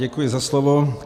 Děkuji za slovo.